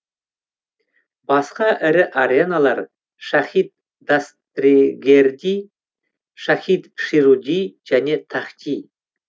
басқа ірі ареналар шахид дастрегерди шахид шируди және тахти